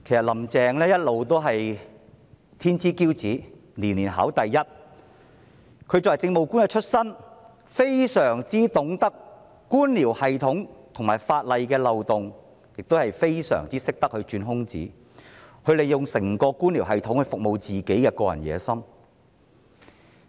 "林鄭"一直是天之驕子，年年考第一，她由政務官出身，非常懂得官僚系統和法例漏洞，亦非常懂得鑽空子，她利用整個官僚系統來服務她的個人野心。